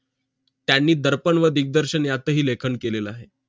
त्यांनी दर्पण व दिग्दर्शन यातही लेखन केलेलं आहे